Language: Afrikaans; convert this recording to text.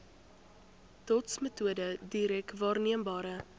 dotsmetode direk waarneembare